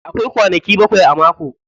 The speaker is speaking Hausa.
Akwai kwanaki bakwai a mako.